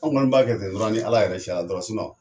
An kɔni b'a kɛ tɛ dɔrɔn ni Ala yɛrɛ cɛla dɔrɔn